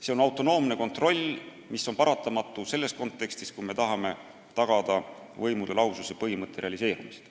See on autonoomne kontroll, mis on hädavajalik, kui me tahame tagada võimude lahususe põhimõtte realiseerimist.